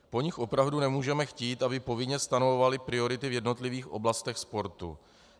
Po nich opravdu nemůžeme chtít, aby povinně stanovovaly priority v jednotlivých oblastech sportu.